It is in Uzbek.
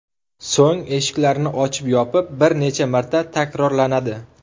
So‘ng eshiklarni ochib-yopish bir necha marta takrorlanadi.